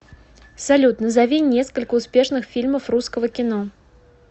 салют назови несколько успешных фильмов русского кино